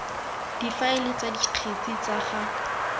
difaele tsa dikgetse tsa ga